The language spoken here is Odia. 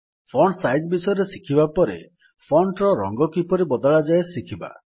ଫଣ୍ଟ୍ ସାଇଜ୍ ବିଷୟରେ ଶିଖିବା ପରେ ଫଣ୍ଟ୍ ର ରଙ୍ଗ କିପରି ବଦଳାଯାଏ ଶିଖିବା